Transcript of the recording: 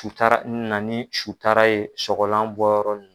Sutara na ni sutara ye sɔgɔlan bɔ yɔrɔ nin.